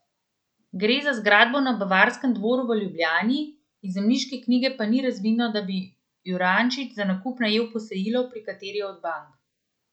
Gre za zgradbo na Bavarskem dvoru v Ljubljani, iz zemljiške knjige pa ni razvidno, da bi Jurančič za nakup najel posojilo pri kateri od bank.